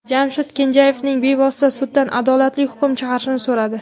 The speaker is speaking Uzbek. Jamshid Kenjayevning bevasi suddan adolatli hukm chiqarishni so‘radi.